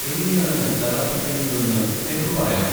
എങ്ങനെയാണ് തെറാപ്പി ചെയ്യുന്നതെന്ന് എന്നോട് പറയാമോ?